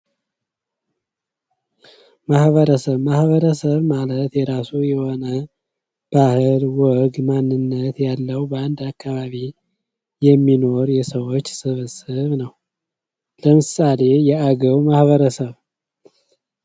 ማበረሰብ ማህበረሰብ ማለት የራሱ የሆነ ባህል፣ ወግ ፣ማንነት ያለው በአንድ አካባቢ የሚኖር የሰዎች ስብስብ ነው። ለምሳሌ የአገው ማህበረሰብ ።